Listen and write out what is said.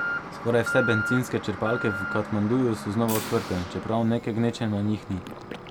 Skoraj vse bencinske črpalke v Katmanduju so znova odprte, čeprav neke gneče na njih ni.